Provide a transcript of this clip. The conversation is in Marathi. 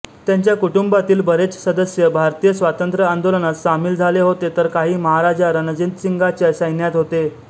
त्यांच्या कुटुंबातील बरेच सदस्य भारतीय स्वातंत्र्यआंदोलनात सामील झाले होते तर काही महाराजा रणजितसिंगाच्या सैन्यात होते